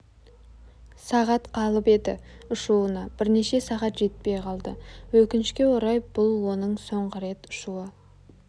сағат қалып еді ұшуына бірнеше сағат жетпей қалды өкінішке орай бұл оның соңғы рет ұшуы